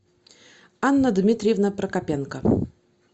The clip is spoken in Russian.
анна дмитриевна прокопенко